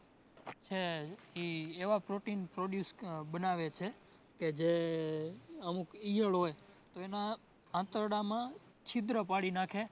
છે ઇ એવા protein produce બનાવે છે કે જે અમુક ઇયળ હોય તો એના આંતરડામાં છિદ્ર પાડી નાખે